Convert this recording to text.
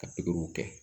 Ka pikiriw kɛ